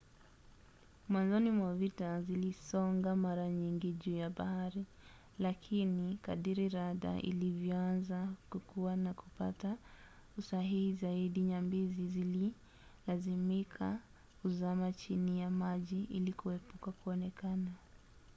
mwanzoni mwa vita zilisonga mara nyingi juu ya bahari lakini kadiri rada ilivyoanza kukua na kupata usahihi zaidi nyambizi zililazimika kuzama chini ya maji ili kuepuka kuonekana